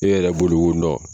E yɛrɛ bolo ko